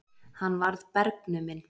Hann varð bergnuminn.